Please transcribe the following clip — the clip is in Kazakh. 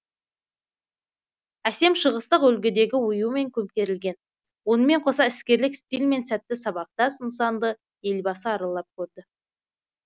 әсем шығыстық үлгідегі оюмен көмкерілген онымен қоса іскерлік стильмен сәтті сабақтас нысанды елбасы аралап көрді